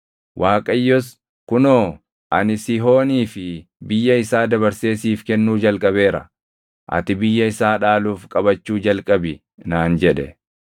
Waaqayyos, “Kunoo, ani Sihoonii fi biyya isaa dabarsee siif kennuu jalqabeera. Ati biyya isaa dhaaluuf qabachuu jalqabi” naan jedhe.